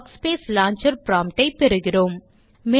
workspace launcher prompt ஐ பெறுகிறோம்